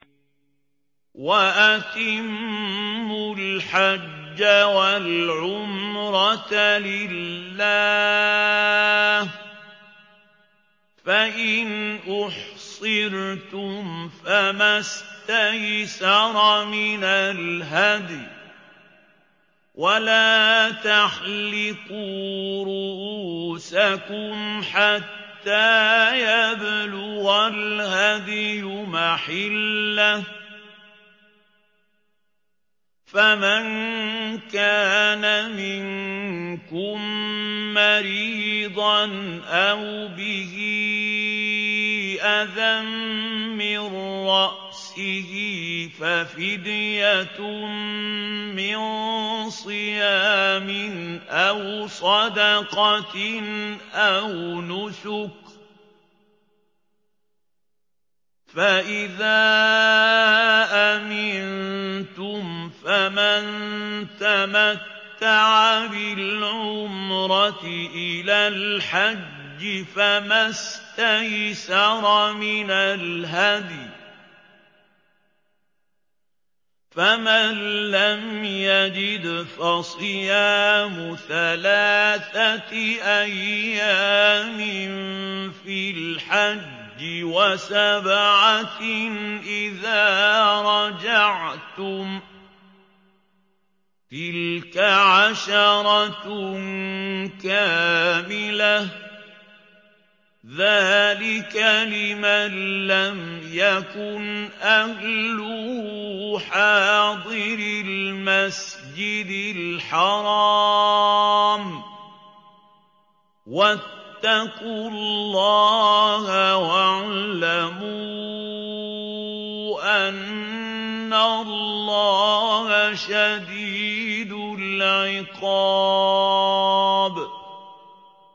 وَأَتِمُّوا الْحَجَّ وَالْعُمْرَةَ لِلَّهِ ۚ فَإِنْ أُحْصِرْتُمْ فَمَا اسْتَيْسَرَ مِنَ الْهَدْيِ ۖ وَلَا تَحْلِقُوا رُءُوسَكُمْ حَتَّىٰ يَبْلُغَ الْهَدْيُ مَحِلَّهُ ۚ فَمَن كَانَ مِنكُم مَّرِيضًا أَوْ بِهِ أَذًى مِّن رَّأْسِهِ فَفِدْيَةٌ مِّن صِيَامٍ أَوْ صَدَقَةٍ أَوْ نُسُكٍ ۚ فَإِذَا أَمِنتُمْ فَمَن تَمَتَّعَ بِالْعُمْرَةِ إِلَى الْحَجِّ فَمَا اسْتَيْسَرَ مِنَ الْهَدْيِ ۚ فَمَن لَّمْ يَجِدْ فَصِيَامُ ثَلَاثَةِ أَيَّامٍ فِي الْحَجِّ وَسَبْعَةٍ إِذَا رَجَعْتُمْ ۗ تِلْكَ عَشَرَةٌ كَامِلَةٌ ۗ ذَٰلِكَ لِمَن لَّمْ يَكُنْ أَهْلُهُ حَاضِرِي الْمَسْجِدِ الْحَرَامِ ۚ وَاتَّقُوا اللَّهَ وَاعْلَمُوا أَنَّ اللَّهَ شَدِيدُ الْعِقَابِ